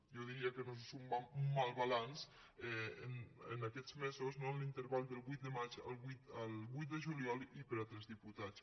jo di·ria que no és un mal balanç en aquests mesos no en l’interval del vuit de maig al vuit de juliol i per a tres dipu·tats